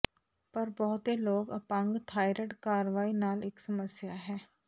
ਪਰ ਬਹੁਤੇ ਲੋਕ ਅਪੰਗ ਥਾਇਰਾਇਡ ਕਾਰਵਾਈ ਨਾਲ ਇੱਕ ਸਮੱਸਿਆ ਹੈ